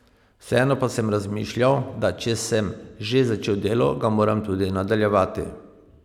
Vseeno pa sem razmišljal, da če sem že začel delo, ga moram tudi nadaljevati.